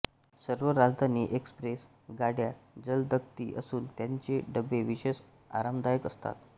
सर्व राजधानी एक्सप्रेस गाड्या जलदगती असून त्यांचे डबे विशेष आरामदायक असतात